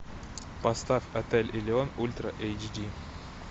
поставь отель элеон ультра эйч ди